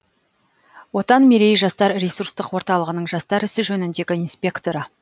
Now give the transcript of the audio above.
отан мерей жастар ресурстық орталығының жастар ісі жөніндегі инспекторы